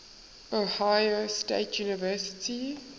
ohio state university